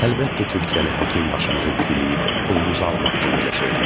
Əlbəttə, Türkiyəli həkim başımızı pilləyib pulumuzu almaq üçün belə söyləmişdi.